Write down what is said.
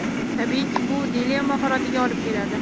Tabiiyki, bu dilemma holatiga olib keladi.